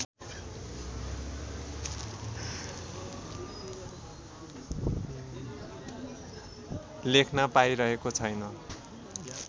लेख्न पाइरहेको छैन